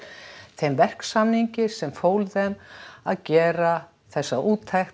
þeim verksamningi sem fól þeim að gera þessa úttekt